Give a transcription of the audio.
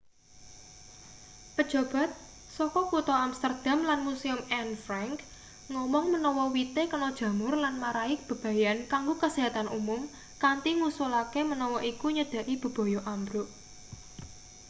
pejabat saka kutha amsterdam lan museum anne frank ngomong menawa wite kena jamur lan marai bebayan kanggo kasehatan umum kanthi ngusulake menawa iku nyedhaki bebaya ambruk